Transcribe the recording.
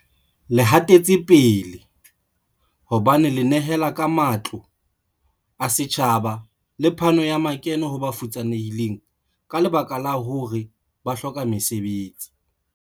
Le hatetsepele, hobane le nehela ka matlole a setjhaba le phano ya makeno ho ba futsanehileng ka lebaka la hore ba hloka mesebetsi.